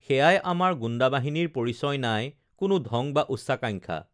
সেয়াই আমাৰ গুণ্ডাবাহিনীৰ পৰিচয় নাই কোনো ঢং বা উচ্চাকাঙ্খা